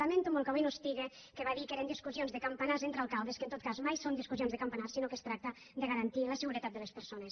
lamento molt que avui no hi siga que va dir que eren discussions de campanars entre alcaldes que en tot cas mai són discussions de campanars sinó que es tracta de garantir la seguretat de les persones